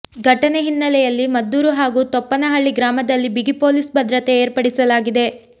ಘಟನೆ ಹಿನ್ನೆಲೆಯಲ್ಲಿ ಮದ್ದೂರು ಹಾಗೂ ತೊಪ್ಪನಹಳ್ಳಿ ಗ್ರಾಮದಲ್ಲಿ ಬಿಗಿ ಪೊಲೀಸ್ ಭದ್ರತೆ ಏರ್ಪಡಿಸಲಾಗಿದೆ